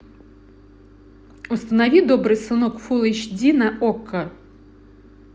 установи добрый сынок фулл эйч ди на окко